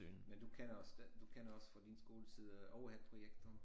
Men du kender også den du kender også fra din skoletid øh overheadprojektoren